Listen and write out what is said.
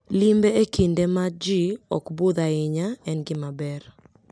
Limbe e kinde ma ji ok budh ahinya en gima ber.